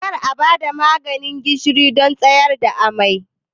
Kar a ba da maganin gishiri don tsayar da amai!